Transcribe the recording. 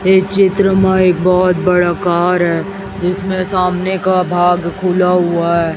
ये चित्र में एक बहोत बड़ा कार हैं जिसमें सामने का भाग खुला हुवा हैं।